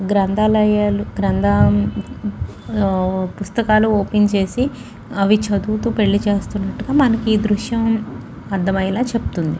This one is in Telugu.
గ్రంథాలయంలోని గ్రంథా పుస్తకాలు ఓపెన్ చేసి అవ్వి చదువుతూ పెళ్లి చేస్తున్నట్టుగా మనకి దృశ్యం అర్థమయ్యేలా చెప్తుంది.